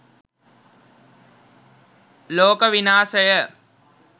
loka winasaya